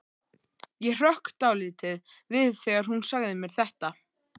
Ég hrökk dálítið við þegar hún sagði mér þetta.